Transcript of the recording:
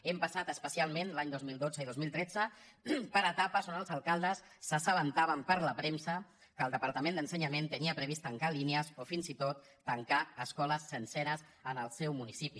hem passat especialment l’any dos mil dotze i dos mil tretze per etapes en què els alcaldes s’assabentaven per la premsa que el departament d’ensenyament tenia previst tancar línies o fins i tot tancar escoles senceres en el seu municipi